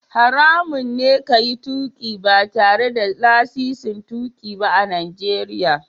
Haramun ne ka yi tuƙi ba tare da lasisin tuƙi ba a Najeriya.